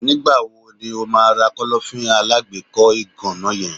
Nígbà wo ni o ma ra Kọ́lọ́fín alágbèékọ́ ìgànná yen?